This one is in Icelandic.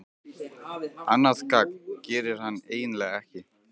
Annað gagn gerir hann eiginlega ekki.